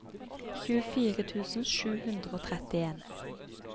tjuefire tusen sju hundre og trettien